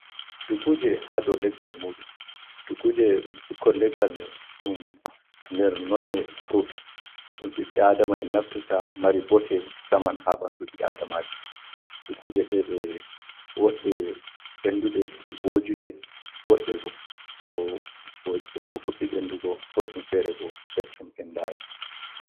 Dukkuje ha dou leggal muɗum. Dukkuje ɗum ɓikkon leggal ɗum nder nonne frut dum ɓibɓe Adama naftirta, mari botte, musamman ha ɓandu ɓi adamajo. Dukkuje ɗe ɗe woɗɗe, ɓendunɗe, vojuɗe, woɗɗe bo, ɗo fuɗɗi ɓendugo, goɗɗum fere bo keccum ɓendai.